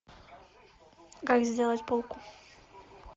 как сделать полку